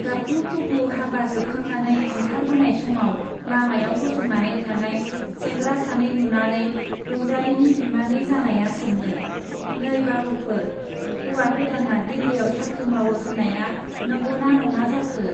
गाबगु-खुगु हाबा जोबखांनानै ओंखारबोनाय समाव लामायाव गसंनानै थानाय सेंग्रा सानै नुनानै रंजालीनि बिमानै जानाया सोङो, नै बाबुफोर, हौवा गोदाना दिल्लीयाव साख्रि मावो होन्नाया नंगौ ना नङा जाखो ?